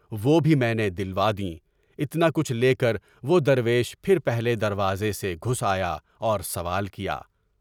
وہ بھی میں نے دلوا دیں۔ اتنا کچھ لے کر وہ درویش پھر پہلے دروازے سے گھس آیا اور سوال کیا۔